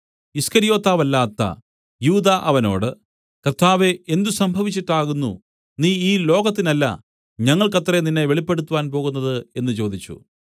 ഈസ്കര്യോത്താവല്ലാത്ത യൂദാ അവനോട് കർത്താവേ എന്ത് സംഭവിച്ചിട്ടാകുന്നു നീ ലോകത്തിനല്ല ഞങ്ങൾക്കത്രേ നിന്നെ വെളിപ്പെടുത്തുവാൻ പോകുന്നത് എന്നു ചോദിച്ചു